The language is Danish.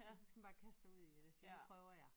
Så skal man bare kaste sig ud i det og sige nu prøver jeg